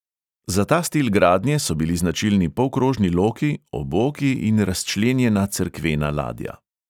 Za ta stil gradnje so bili značilni polkrožni loki, oboki in razčlenjena cerkvena ladja.